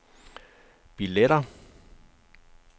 billetter